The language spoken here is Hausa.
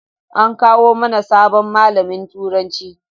An kawo mana sabon malamin turanci